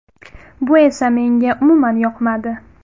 Bu esa menga umuman yoqmadi.